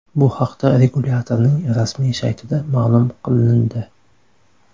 Bu haqda regulyatorning rasmiy saytida ma’lum qilindi .